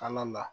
An ka la